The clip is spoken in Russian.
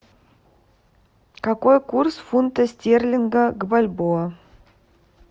какой курс фунта стерлинга к бальбоа